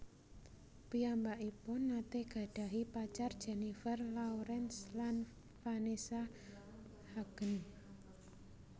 Piyambakipun nate gadhahi pacar Jennifer Lawrence lan Vanessa Hudgens